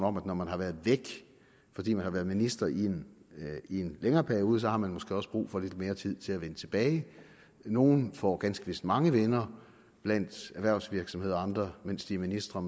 om at når man har været væk fordi man har været minister i en længere periode har man måske også brug for lidt mere tid til at vende tilbage nogle får ganske vist mange venner blandt erhvervsledere og andre mens de er ministre